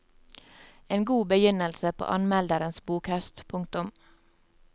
En god begynnelse på anmelderens bokhøst. punktum